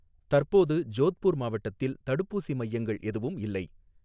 தற்போது ஜோத்பூர் மாவட்டத்தில் தடுப்பூசி மையங்கள் எதுவும் இல்லை